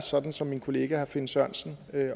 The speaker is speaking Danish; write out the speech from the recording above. sådan som min kollega herre finn sørensen